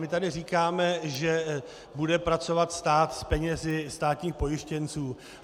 My tady říkáme, že bude pracovat stát s penězi státních pojištěnců.